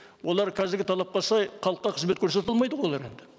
олар қазіргі талапқа сай халыққа қызмет көрсете алмайды ғой олар енді